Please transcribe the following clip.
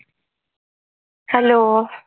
hello